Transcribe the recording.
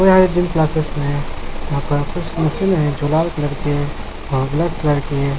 यह gym classes में यहाँ पर कुछ मशीन हैं जो लाल कलर की हैं और ब्लैक कलर की हैं।